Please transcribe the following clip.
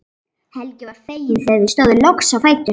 Helgi var feginn þegar þau stóðu loks á fætur.